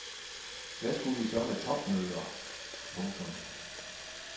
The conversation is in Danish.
Hvad skulle vi så med topmøder. punktum